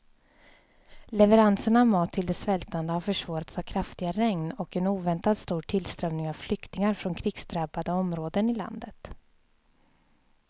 Leveranserna av mat till de svältande har försvårats av kraftiga regn och en oväntat stor tillströmning av flyktingar från krigsdrabbade områden i landet.